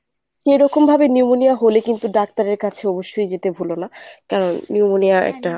কেরকমভাবে pneumonia হলে কিন্তু doctor এর কাছে অবশ্যই যেতে ভুলো না কারণ pneumonia একটা